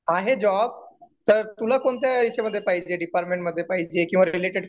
आहे जॉब. तर तुला कोणत्या याच्यामध्ये पाहिजे डिपार्टमेंट मध्ये पाहिजे किंवा रिलेटेड पाहिजे?